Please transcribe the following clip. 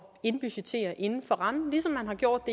indbudgettere inden for rammen ligesom man har gjort